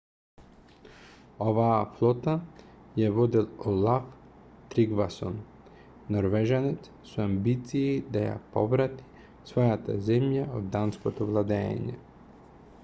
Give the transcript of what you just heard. оваа флота ја водел олаф тригвасон норвежанец со амбиции да ја поврати својата земја од данското владеење